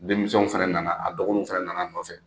Denmisɛnw fana nana a dɔgɔninw fana nana a nɔfɛ